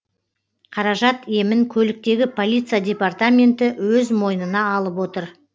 қаражат емін көліктегі полиция департаменті өз мойнына алып отыр